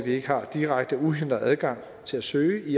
ikke har direkte uhindret adgang til at søge